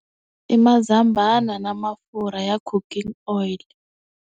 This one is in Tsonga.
I mzambana na mafurha ya cooking oil.